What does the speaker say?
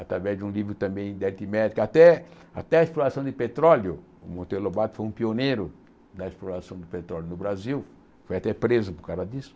através de um livro também de aritmética, até até a exploração de petróleo, o Monteiro Lobato foi um pioneiro na exploração do petróleo no Brasil, foi até preso por causa disso.